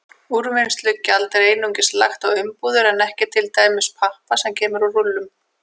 Úrvinnslugjald er einungis lagt á umbúðir en ekki til dæmis pappa sem kemur í rúllum.